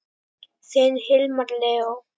Þinn Hilmar Leó.